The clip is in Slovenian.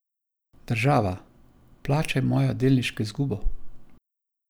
Država, plačaj mojo delniško izgubo!